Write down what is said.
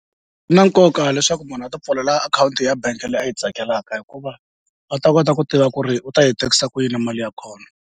Na nkoka leswaku munhu a ti pfulela akhawunti ya bank leyi a yi tsakelaka hikuva a ta kota ku tiva ku ri u ta yi tekisa ku yini na mali ya kona.